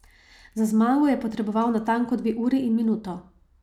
Za zmago je potreboval natanko dve uri in minuto.